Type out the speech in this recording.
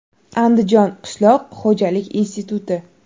Andijon qishloq xo‘jalik instituti.